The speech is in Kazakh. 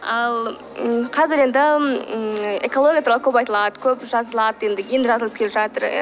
ал ммм қазір енді ммм экология туралы көп айтылады көп жазылады енді енді жазылып келе жатыр